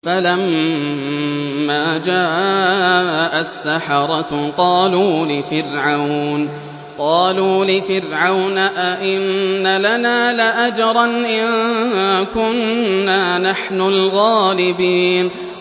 فَلَمَّا جَاءَ السَّحَرَةُ قَالُوا لِفِرْعَوْنَ أَئِنَّ لَنَا لَأَجْرًا إِن كُنَّا نَحْنُ الْغَالِبِينَ